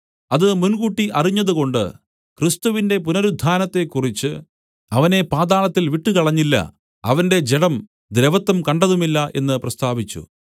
അത് മുൻകൂട്ടി അറിഞ്ഞതുകൊണ്ട് ക്രിസ്തുവിന്റെ പുനരുത്ഥാനത്തെക്കുറിച്ച് അവനെ പാതാളത്തിൽ വിട്ടുകളഞ്ഞില്ല അവന്റെ ജഡം ദ്രവത്വം കണ്ടതുമില്ല എന്ന് പ്രസ്താവിച്ചു